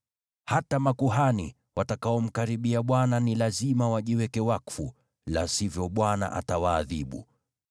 Hata makuhani, watakaomkaribia Bwana ni lazima wajiweke wakfu, la sivyo Bwana atawaadhibu.”